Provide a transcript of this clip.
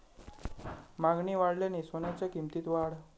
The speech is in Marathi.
मागणी वाढल्याने सोन्याच्या किंमतीत वाढ